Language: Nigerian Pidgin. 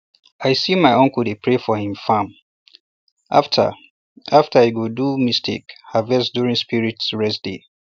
i see my uncle dey pray for him farm um after um after he go do mistake um harvest during spirit rest day